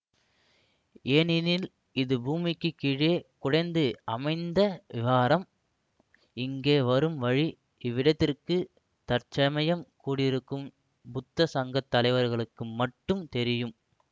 ஏனெனில் இது பூமிக்குக் கீழே குடைந்து அமைத்த விஹாரம் இங்கே வரும் வழி இவ்விடத்திற்கு தற்சமயம் கூடியிருக்கும் புத்த சங்க தலைவர்களுக்கு மட்டும் தெரியும்